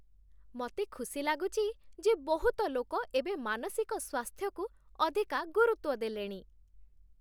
ମତେ ଖୁସି ଲାଗୁଛି ଯେ ବହୁତ ଲୋକ ଏବେ ମାନସିକ ସ୍ୱାସ୍ଥ୍ୟକୁ ଅଧିକା ଗୁରୁତ୍ଵ ଦେଲେଣି ।